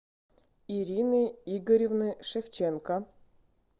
ирины игоревны шевченко